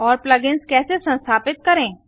और plug ins कैसे संस्थापित करें